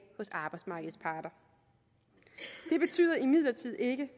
hos arbejdsmarkedets parter det betyder imidlertid ikke